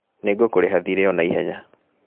Nĩngũkũrĩha thirĩ ona ihenya